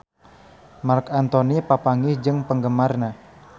Marc Anthony papanggih jeung penggemarna